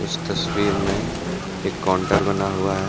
इस तस्वीर में एक कोंटर बना हुआ है।